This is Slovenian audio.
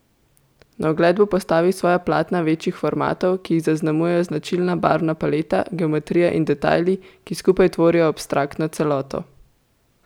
Na ogled bo postavil svoja platna večjih formatov, ki jih zaznamujejo značilna barvna paleta, geometrija in detajli, ki skupaj tvorijo abstraktno celoto.